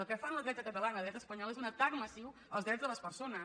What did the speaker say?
el que fan la dreta catalana i la dreta espanyola és un atac massiu als drets de les persones